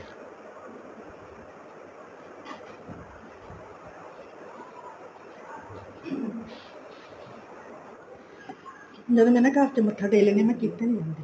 ਮੈਂ ਵੀ ਘਰ ਚ ਮੱਥਾ ਟੇਕ ਲੈਂਦੀ ਹਾਂ ਕਿਤੇ ਨੀ ਜਾਂਦੀ